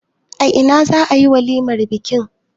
A ina za a yi walimar bikin?